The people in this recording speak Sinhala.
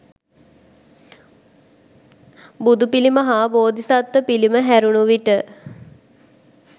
බුදු පිළිම හා බෝධිසත්ව පිළිම හැරුණු විට